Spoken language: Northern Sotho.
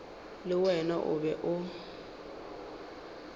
le wona o be o